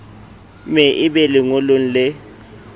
me e be lengolong le